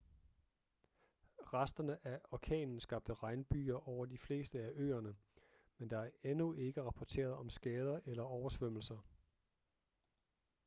resterne af orkanen skabte regnbyger over de fleste af øerne men der er endnu ikke rapporteret om skader eller oversvømmelser